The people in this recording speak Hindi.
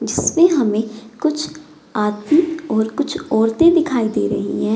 जिस पे हमें कुछ आदमी और कुछ औरतें दिखाई दे रहीं हैं।